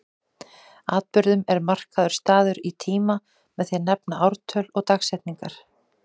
Atburðum er markaður staður í tíma með því að nefna ártöl og dagsetningar.